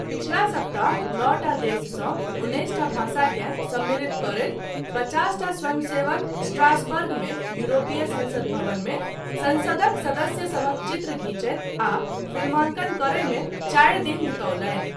पछिला सप्ताह नओटा देशसँ उन्नैसटा भाषाकेँ सम्मिलित करैत पचासटा स्वयंसेवक स्ट्रासबर्गमे यूरोपीय संसद भवनमे संसदक सदस्यसभक चित्र घिचैत आ फिल्मााङ्कन करयमे चारि दिन बितौलनि।